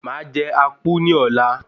Màá jẹ Akpu ní ọ̀la.